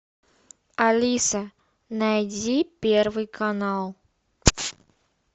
алиса найди первый канал